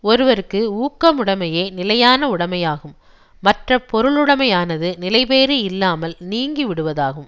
ஒருவர்க்கு ஊக்கமுடைமையே நிலையான உடைமையாகும் மற்ற பொருளுடைமையானது நிலைபேறு இல்லாமல் நீங்கிவிடுவதாகும்